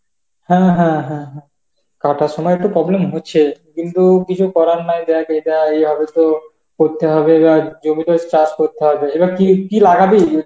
হ্যাঁ হ্যাঁ হ্যাঁ হ্যাঁ কাটার সময় তো problem হচ্ছেই, কিন্তু কিছু করার নাই দেখ এটাই এভাবে তো করতে হবে বা জমিতে চাষ করতে হবে. এবার কি, কি লাগাবি?